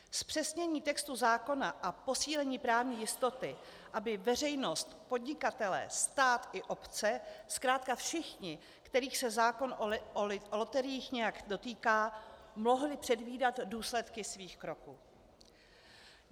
Zpřesnění textu zákona a posílení právní jistoty, aby veřejnost, podnikatelé, stát i obce, zkrátka všichni, kterých se zákon o loteriích nějak dotýká, mohli předvídat důsledky svých kroků.